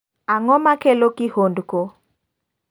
Ang'o makelo kihondko?